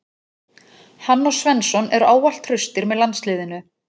Hann og Svensson eru ávallt traustir með landsliðinu.